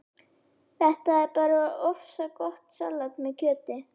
Þetta er bara ofsagott salat með kjöti